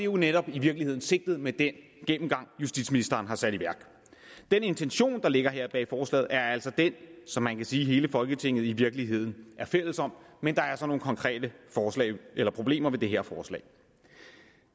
jo netop i virkeligheden sigtet med den gennemgang justitsministeren har sat i værk den intention der ligger her bag forslaget er altså den som man kan sige hele folketinget i virkeligheden er fælles om men der er altså nogle konkrete problemer ved det her forslag